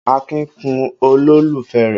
Akin kun olólùfẹ́ rẹ̀.